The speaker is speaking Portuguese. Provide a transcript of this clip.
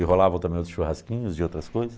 E rolavam também outros churrasquinhos e outras coisas.